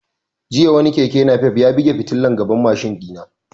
Jiya wani keke nafef ya buge fitilan gaban mashin ɗina